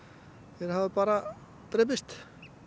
þeir hafa bara drepist